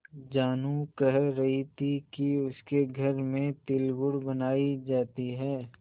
जानू कह रही थी कि उसके घर में तिलगुड़ बनायी जाती है